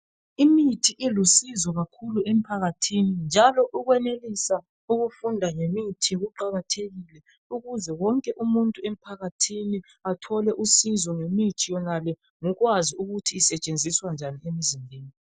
imithi ilusizo kakhulu emphakathini njalo ukwenelisa ukufunda ngemithi kuqakathekile ukuze wonke umuntu emphakathini athole usizo ngemithi yonale ngokwazi ukuthi isetshenziswa njani